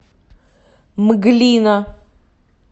мглина